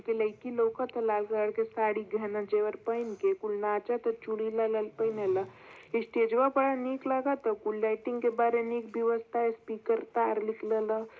लइकी लउकत ह लाल कलर के साड़ी गहना जवर पहीन के कुल नाचता चूड़ी लाल लाल पेनेला स्टेजवा बरा निक लगता कुल लाइटिंग के निक बय्वस्ता स्पीकर तार निकलल ह।